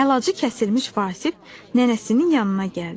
Əlacı kəsilmiş Vasif nənəsinin yanına gəldi.